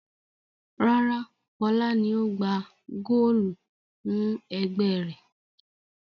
Rárá, Fọlá ni ó gbá góólù fún ẹgbẹ́ rẹ̀.